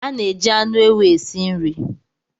A na-eji anụ ewu esi nri.